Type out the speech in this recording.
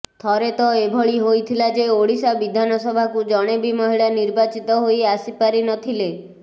ଥରେ ତ ଏଭଳି ହୋଇଥିଲା ଯେ ଓଡ଼ିଶା ବିଧାନସଭାକୁ ଜଣେ ବି ମହିଳା ନିର୍ବାଚିତ ହୋଇ ଆସିପାରି ନଥିଲେ